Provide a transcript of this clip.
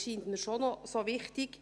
das scheint mir doch noch wichtig.